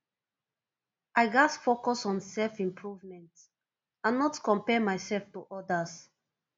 i gats focus on selfimprovement and not compare myself to others